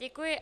Děkuji.